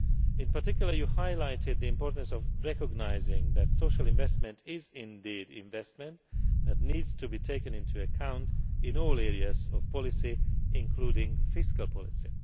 In particular, you highlighted the importance of recognising that social investment is indeed investment that needs to be taken into account in all areas of policy, including fiscal policy.